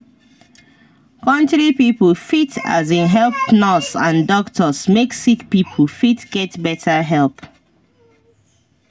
country pipo fit um help nurse and doctors make sick pipo fit get better help.